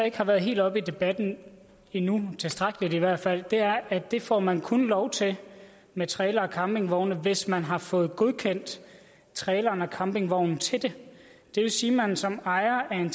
ikke har været helt oppe i debatten endnu tilstrækkeligt i hvert fald er at det får man kun lov til med trailere eller campingvogne hvis man har fået godkendt traileren eller campingvognen til det det vil sige at man som ejer af en